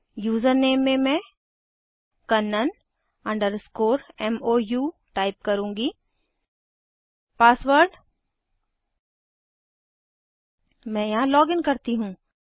username में मैं Kannan underscore मोउ टाइप करुँगी पासवर्ड मैं यहाँ लॉगिन करती हूँ